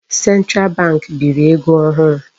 Central bank biri ego ohụrụ.